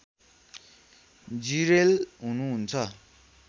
जिरेल हुनुहुन्छ